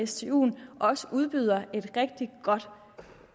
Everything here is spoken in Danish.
stuen også udbyder et rigtig godt